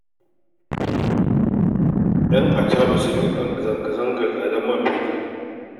Yan acaɓa sun yi zanga-zangar tsadar man fetur da gas